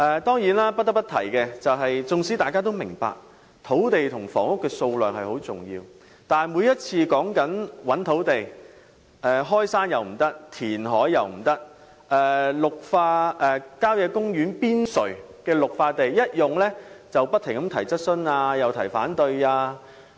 不得不提的是，縱使大家也明白土地與房屋的供應量十分重要，但當談到尋覓土地時，無論是開山填海或開發郊野公園邊陲的綠化地帶，議員都會不斷提出質詢和反對。